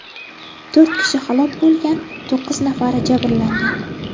To‘rt kishi halok bo‘lgan, to‘qqiz nafari jabrlangan.